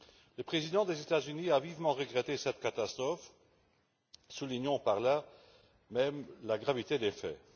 Le président des États Unis a vivement déploré cette catastrophe, soulignant par là même la gravité des faits.